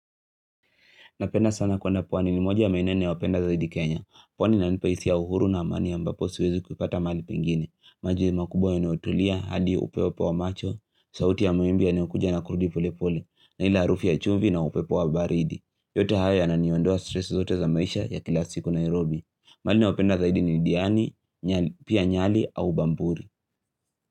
Napenda sana kuenda pwani ni moja ya maeneo ninayopenda zaidi Kenya. Pwani inanipa hisia, uhuru na amani ambapo siwezi kupata mahali kwingine. Maji ni makubwa yanayotulia, hadi upepo wa macho, sauti ya mawimbi yanayokuja na kurudi pole pole, na ile harufu ya chumvi na upepo wa baridi. Yote haya yana niondoa stress zote za maisha ya kila siku Nairobi. Maeneo ya penda zaidi ni diani, pia nyali au bamburi.